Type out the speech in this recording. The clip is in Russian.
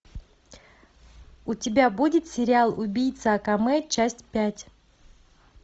у тебя будет сериал убийца акаме часть пять